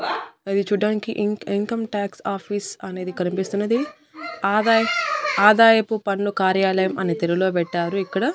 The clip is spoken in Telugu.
అది చూడ్డానికి ఇంక్ ఇంకమ్ ట్యాక్స్ ఆఫీస్ అనేది కనిపిస్తున్నది ఆదాయం ఆదాయపు పన్ను కార్యాలయం అని తెలుగులో పెట్టారు ఇక్కడ.